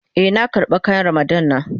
Eh, nan karba kayan Ramadan na.